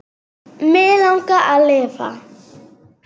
Mig langar að lifa.